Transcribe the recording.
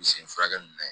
Misi furakɛli ninnu na